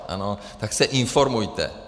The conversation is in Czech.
Tak se informujte.